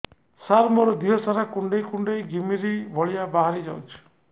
ସାର ମୋର ଦିହ ସାରା କୁଣ୍ଡେଇ କୁଣ୍ଡେଇ ଘିମିରି ଭଳିଆ ବାହାରି ଯାଉଛି